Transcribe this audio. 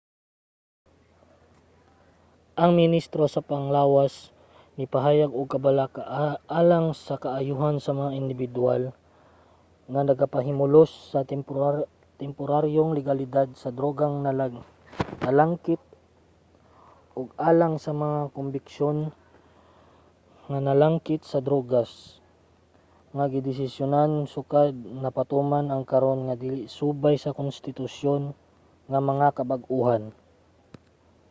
ang ministro sa panglawas nipahayag og kabalaka alang sa kaayohan sa mga indibidwal nga nagapahimulos sa temporaryong legalidad sa drogang nalangkit ug alang sa mga kombiksyon nga nalangkit sa droga nga gidesisyonan sukad napatuman ang karon na dili subay sa konstitusyon nga mga kabag-ohan